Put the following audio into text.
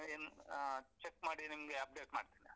ಇನ್ನ್ uh check ಮಾಡಿ ನಿಮ್ಗೆ update ಮಾಡ್ತೇನೆ.